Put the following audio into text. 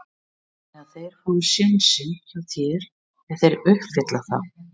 Þannig að þeir fá sénsinn hjá þér ef þeir uppfylla það?